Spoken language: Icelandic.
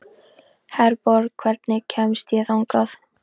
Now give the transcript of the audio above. Herborg, hvernig kemst ég þangað?